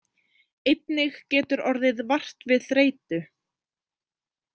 Einnig getur orðið vart við þreytu.